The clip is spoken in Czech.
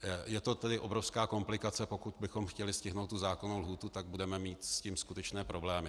Je to tedy obrovská komplikace, pokud bychom chtěli stihnout tu zákonnou lhůtu, tak budeme mít s tím skutečné problémy.